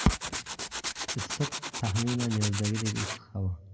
Issiq, taxminan yozdagidek issiq havo.